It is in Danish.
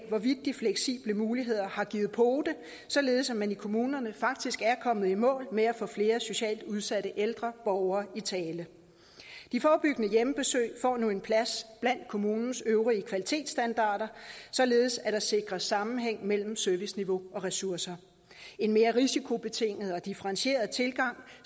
af hvorvidt de fleksible muligheder har givet pote således at man i kommunerne faktisk er kommet i mål med at få flere socialt udsatte ældre borgere i tale de forebyggende hjemmebesøg får nu en plads blandt kommunens øvrige kvalitetsstandarder således at der sikres sammenhæng mellem serviceniveau og ressourcer en mere risikobetinget og differentieret tilgang